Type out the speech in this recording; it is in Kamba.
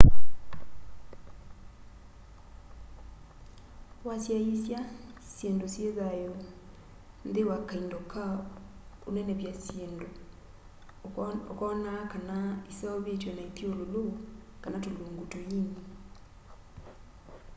wasyaisya syindu syi thayu nthi wa kaindo ka unenevy'a syindu ukoona kana iseuvitw'e na ithyululu kana tulungu tuini